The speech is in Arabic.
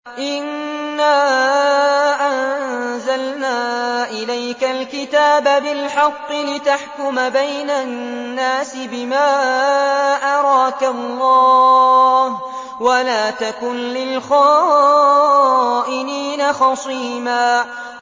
إِنَّا أَنزَلْنَا إِلَيْكَ الْكِتَابَ بِالْحَقِّ لِتَحْكُمَ بَيْنَ النَّاسِ بِمَا أَرَاكَ اللَّهُ ۚ وَلَا تَكُن لِّلْخَائِنِينَ خَصِيمًا